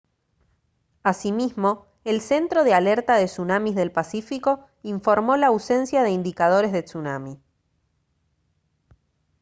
asimismo el centro de alerta de tsunamis del pacífico informó la ausencia de indicadores de tsunami